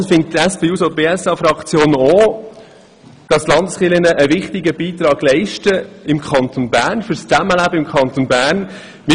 Ansonsten findet die SP-JUSO-PSA-Fraktion auch, dass die Landeskirchen einen wichtigen Beitrag für das Zusammenleben im Kanton Bern leisten.